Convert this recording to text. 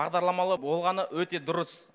бағдарламалы болғаны өте дұрыс